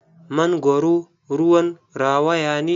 Mangoro ruwan rawaya ne.